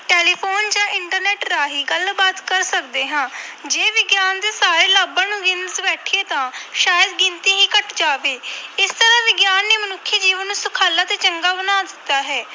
Telephone ਜਾਂ internet ਰਾਹੀਂ ਗੱਲਬਾਤ ਕਰ ਸਕਦੇ ਹਾਂ ਜੇ ਵਿਗਿਆਨ ਦੇ ਸਾਰੇ ਲਾਭਾਂ ਨੂੰ ਗਿਣਨ ਬੈਠੀਏ ਤਾਂ ਸ਼ਾਇਦ ਗਿਣਤੀ ਹੀ ਘੱਟ ਜਾਵੇ ਇਸ ਤਰ੍ਹਾਂ ਵਿਗਿਆਨ ਨੇ ਮਨੁੱਖੀ ਜੀਵਨ ਨੂੰ ਸੁਖਾਲਾ ਤੇ ਚੰਗਾ ਬਣਾ ਦਿੱਤਾ ਹੈ।